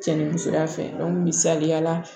Cɛ ni musoya fɛ misaliya la